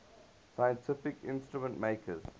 scientific instrument makers